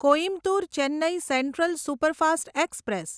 Coimbatore Chennai central superfast express